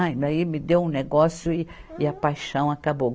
Daí me deu um negócio e, e a paixão acabou.